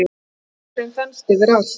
Hláturinn þenst yfir allt.